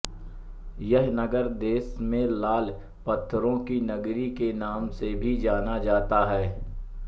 यह नगर देश में लाल पत्थरों की नगरी के नाम से भी जाना जाता है